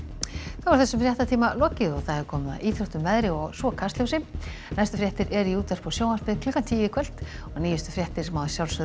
þá er þessum fréttatíma lokið og komið að íþróttum veðri og svo Kastljósi næstu fréttir eru í útvarpi og sjónvarpi klukkan tíu í kvöld og nýjustu fréttir má